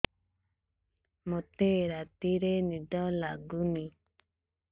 ମୋତେ ରାତିରେ ନିଦ ଲାଗୁନି